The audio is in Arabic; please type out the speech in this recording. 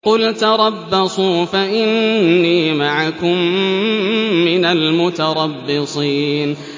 قُلْ تَرَبَّصُوا فَإِنِّي مَعَكُم مِّنَ الْمُتَرَبِّصِينَ